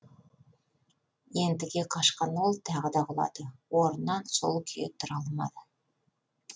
ентіге қашқан ол тағы да құлады орнынан сол күйі тұра алмады